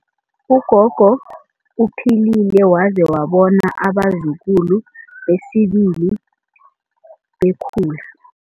Ugogo uphilile waze wabona abazukulu besibili bekhula.